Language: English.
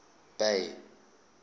bay